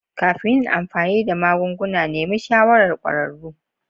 Kafin yin amfani da magunguna, nemi shawarar kwararru.